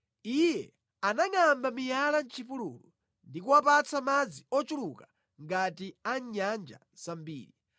Iye anangʼamba miyala mʼchipululu ndi kuwapatsa madzi ochuluka ngati a mʼnyanja zambiri;